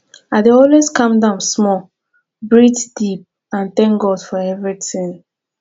i dey always calm down small breathe deep and thank god for everything